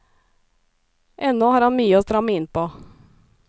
Ennå har han mye å stramme inn på.